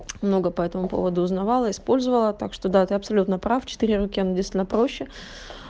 много по этому поводу узнавала использовала так что да ты абсолютно прав четыре руки оно действительно проще